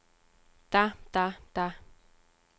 der der der